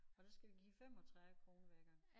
Og der skal vi give 35 kroner hver gang